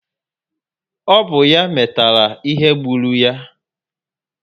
Ọ bụ ya metara ihe gbulu ya